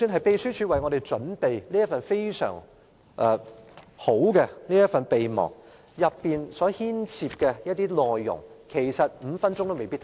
秘書處為我們準備了這份非常好的備忘，但當中的內容5分鐘也未必看完。